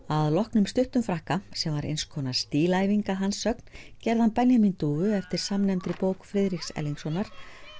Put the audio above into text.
að loknum stuttum frakka sem var eins konar stílæfing að hans sögn gerði hann Benjamín dúfu eftir samnefndri bók Friðriks Erlingssonar